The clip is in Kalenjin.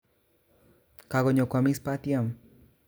Kakonyo kwomis batiem